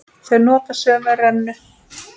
Þau nota sömu rennu.